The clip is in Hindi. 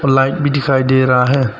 लाइट भी दिखाई दे रहा है।